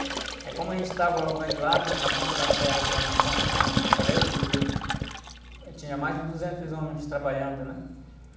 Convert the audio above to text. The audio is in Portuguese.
Aí como a gente estava organ, lá no, na ponta da serra, que é uma ponte chamada Fortaleza...hum.inha mais de duzentos homens trabalhando, né?